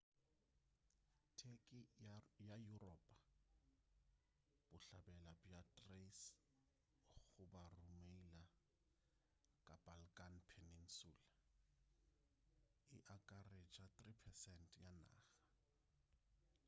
turkey ya yuropa bohlabela bja thrace goba rumelia ka balkan peninsula e akaretša 3% ya naga